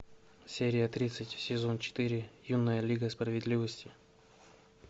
серия тридцать сезон четыре юная лига справедливости